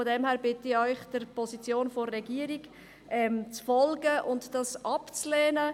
Deshalb bitte ich Sie, der Position der Regierung zu folgen und es abzulehnen.